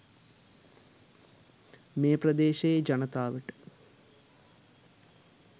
මේ ප්‍රදේශයේ ජනතාවට